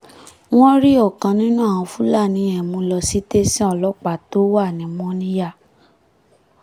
wọ́n rí ọ̀kan nínú àwọn fúlàní yẹn mú lọ sì tẹ̀sán ọlọ́pàá tó wà ní mòníyà